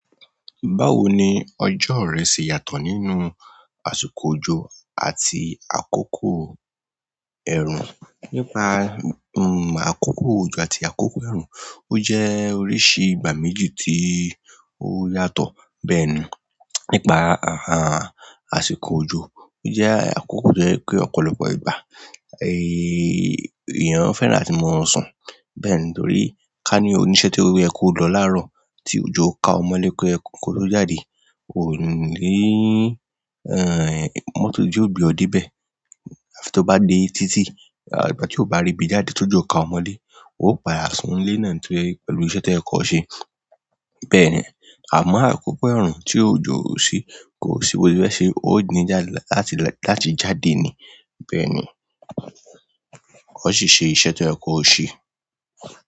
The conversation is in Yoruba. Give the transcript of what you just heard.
Báwo ni ọjọ́ rẹ ṣe yàtọ̀ nínú àsìkò òjò àti àkókò ẹ̀rùn? Nípa àkókò òjò àti àkókò ẹ̀rùn, o jẹ́ oríṣi ìgbà méjì tí o yàtọ̀. Bẹ́ẹ̀ni, nípa a a àsìkò òjò, ó jẹ́ àkókò to yẹ́ pé ọ̀pọ̀lọpọ̀ ìgbà, eyin èèyàn fẹ́ràn latí mó sùn. Bẹ́ẹ̀ni, torí ká ní oníṣẹ́ tí ó yẹ kó lọ láàárọ̀ tí òjò ka ọ mọlé kó ye ko lọ jáde, ò ni lè eyin mọ́tó ijo ògbe ọ́ debẹ. Àfi tó bá gbé títí, a ìgbà tí ó bá rí ibi jáde tójọ ka ọ mọlé, ó padá sùn lé nàa ni tóye ẹ̀rú iṣẹ́ tẹ kọ ṣé. Bẹ́ẹ̀ni, àmọ́ àkókò ẹ̀rùn tí òjò ò sí, kò sí boye fe ṣe, ó ní lala láti la láti jáde ni. Bẹ́ẹ̀ni, ó sì ṣe iṣẹ́ to yẹ kò ṣe.